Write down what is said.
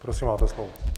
Prosím, máte slovo.